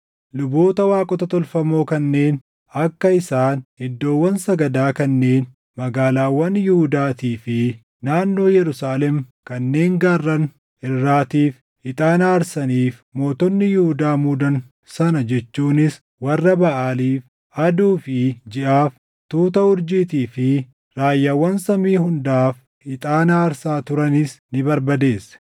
Luboota waaqota tolfamoo kanneen akka isaan iddoowwan sagadaa kanneen magaalaawwan Yihuudaatii fi naannoo Yerusaalem kanneen gaarran irraatiif ixaana aarsaniif mootonni Yihuudaa muudan sana jechuunis warra Baʼaaliif, aduu fi jiʼaaf, tuuta urjiitii fi raayyaawwan samii hundaaf ixaana aarsaa turanis ni barbadeesse.